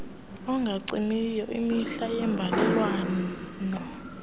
engacimiyo imihla yeembalelwano